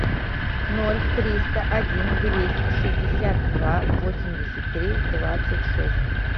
ноль триста один двести шестьдесят два восемьдесят три двадцать шесть